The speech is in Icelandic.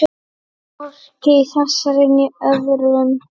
Hvorki í þessari né öðrum.